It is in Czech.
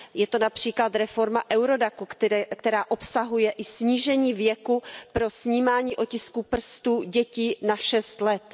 Je to například reforma nařízení EURODAC, která obsahuje i snížení věku pro snímání otisků prstů dětí na šest let.